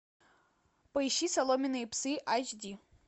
поищи соломенные псы айч ди